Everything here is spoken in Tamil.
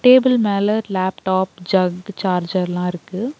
டேபிள் மேல லேப்டாப் ஜக் சார்ஜர்லா இருக்கு.